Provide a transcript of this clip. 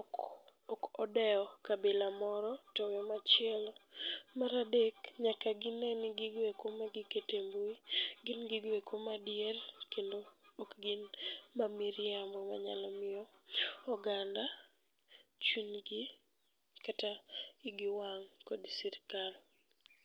ok odewo kabila moro towe machielo. Maradek, nyaka gine ni gigeko magikete mbui gin gigoeko madier kendo ok gin mamiriambo manyalo miyo oganda chunygi kata igi wang' kod sirikal.